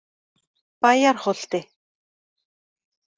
Bæjarholti